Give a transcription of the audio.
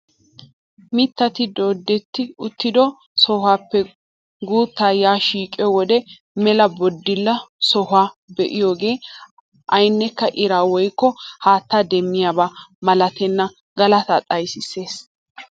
Mittati doodetti uttido sohuwaappe guuttaa yaa shiqiyoo wode mela booddila sohuwaa be'iyoogee aynekka iraa woykko haattaa demmiyaaba malatenna galataa xayssees!